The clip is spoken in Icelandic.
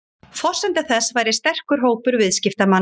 Forsenda þess væri sterkur hópur viðskiptamanna